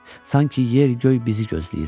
Sanki yer, göy bizi gözləyirmiş.